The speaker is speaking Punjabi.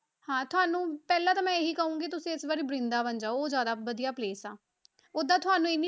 ਹਾਂ ਤੁਹਾਨੂੰ ਪਹਿਲਾਂ ਤਾਂ ਮੈਂ ਇਹੀ ਕਹਾਂਗੀ ਤੁਸੀਂ ਇਸ ਵਾਰੀ ਬਰਿੰਦਾਬਨ ਜਾਓ ਉਹ ਜ਼ਿਆਦਾ ਵਧੀਆ place ਆ, ਓਦਾਂ ਤੁਹਾਨੂੰ ਇੰਨੀ